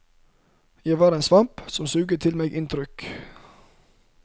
Jeg var en svamp som suget til meg inntrykk.